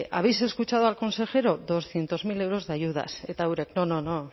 habéis escuchado al consejero doscientos mil euros de ayudas eta eurek no no no